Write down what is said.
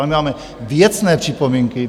Ale my máme věcné připomínky.